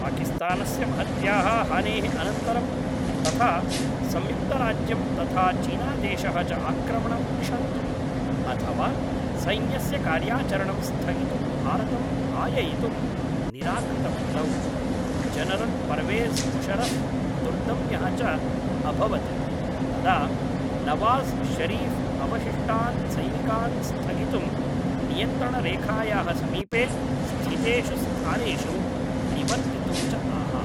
पाकिस्तानस्य महत्याः हानेः अनन्तरं तथा संयुक्तराज्यं तथा चीनादेशः च आक्रमणं क्षन्तुम् अथवा सैन्यस्य कार्याचरणं स्थगितुं भारतं भाययितुं निराकृतवन्तौ, जनरल् पर्वेज़् मुशर्रफ् दुर्दम्यः च अभवत् तदा नवाज़् शरीफ् अवशिष्टान् सैनिकान् स्थगितुं नियंत्रणरेखायाः समीपे स्थितेषु स्थानेषु निवर्तितुम् च आह